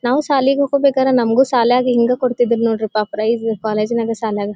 ನಾವು ಶಾಲೆಗೇ ಹೋಗ್ಬೇಕಾದ್ರೆ ನಮಗೂ ಶಾಲ್ಯಾಗ ಹಿಂಗೇ ಕೊಡುತಿದ್ದರು ನೋಡ್ರಪ ಪ್ರೈಜ್ ಕಾಲೇಜ್ ನಗೆ ಶಾಲ್ಯಾಗ.